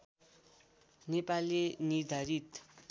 नेपाले निर्धारित